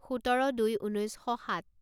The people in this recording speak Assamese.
সোতৰ দুই ঊনৈছ শ সাত